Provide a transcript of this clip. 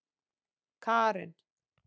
Karen